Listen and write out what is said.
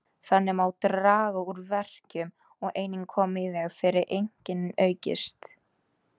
Þannig má draga úr verkjum og einnig koma í veg fyrir að einkennin aukist.